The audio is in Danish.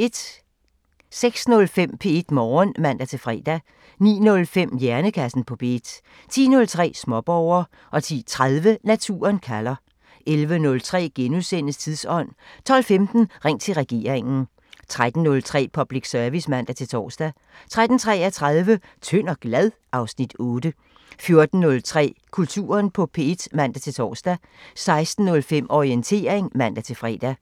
06:05: P1 Morgen (man-fre) 09:05: Hjernekassen på P1 10:03: Småborger 10:30: Naturen kalder 11:03: Tidsånd * 12:15: Ring til regeringen 13:03: Public Service (man-tor) 13:33: Tynd og glad? (Afs. 8) 14:03: Kulturen på P1 (man-tor) 16:05: Orientering (man-fre)